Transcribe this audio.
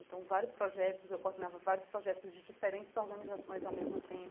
Então, vários projetos, eu coordenava vários projetos de diferentes organizações ao mesmo tempo.